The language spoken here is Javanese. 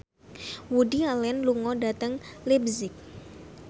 Woody Allen lunga dhateng leipzig